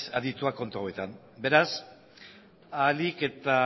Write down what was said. aditua kontu hauetan beraz ahalik eta